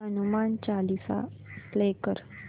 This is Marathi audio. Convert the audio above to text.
हनुमान चालीसा प्ले कर